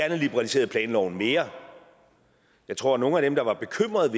have liberaliseret planloven mere jeg tror at nogle af dem der var bekymrede